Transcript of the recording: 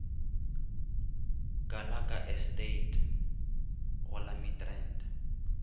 gallagher estate go la midrand